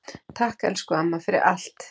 Takk, elsku amma, fyrir allt.